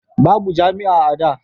babu jami'a a da